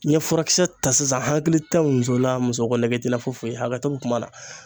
N ye furakisɛ ta sisan n hakili tɛ muso la musoko nege tɛ n na foyi foyi hakɛto bɛ kuma na.